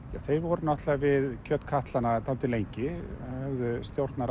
þeir voru náttúrulega við kjötkatlana dálítið lengi höfðu